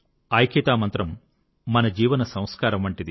ఐక్యతా మంత్రం మన జీవన సంస్కారం వంటిది